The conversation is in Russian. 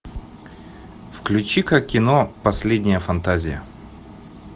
включи ка кино последняя фантазия